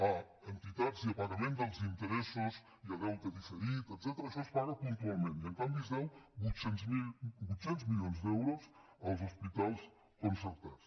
a entitats i a pagament dels interessos i a deute diferit etcètera això es paga puntualment i en canvi es deuen vuit cents milions d’euros als hospitals concertats